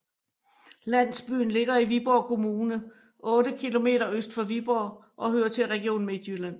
Landsbyen ligger i Viborg Kommune otte kilometer øst for Viborg og hører til Region Midtjylland